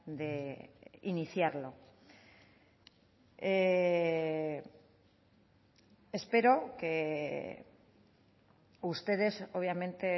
de iniciarlo espero que ustedes obviamente